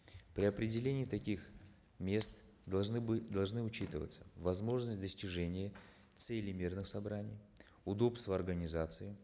при определении таких мест должны должны учитываться возможность достижения цели мирных собраний удобство организации